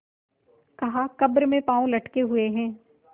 कहाकब्र में पाँव लटके हुए हैं